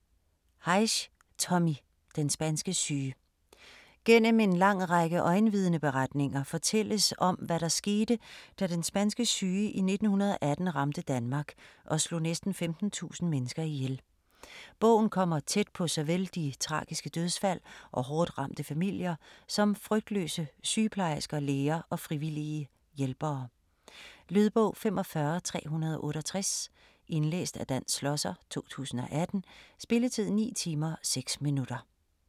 Heisz, Tommy: Den spanske syge Gennem en lang række øjenvidneberetninger fortælles om, hvad der skete, da den spanske syge i 1918 ramte Danmark og slog næsten 15.000 mennesker ihjel. Bogen kommer tæt på såvel de tragiske dødsfald og hårdt ramte familier som frygtløse sygeplejersker, læger og frivillige hjælpere. Lydbog 45368 Indlæst af Dan Schlosser, 2018. Spilletid: 9 timer, 6 minutter.